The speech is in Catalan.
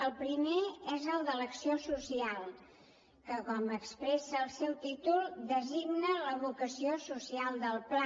el primer és el de l’acció social que com expressa el seu títol designa la vocació social del pla